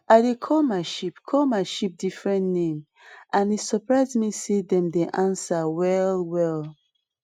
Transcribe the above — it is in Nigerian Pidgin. i dey call my sheep call my sheep different name and e surprise me say dem dey answer well well